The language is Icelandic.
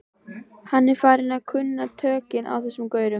Hann er farinn að kunna tökin á þessum gaurum.